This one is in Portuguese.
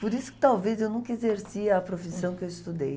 Por isso que talvez eu nunca exerci a profissão que eu estudei.